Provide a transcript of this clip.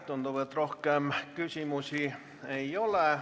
Tundub, et rohkem küsimusi ei ole.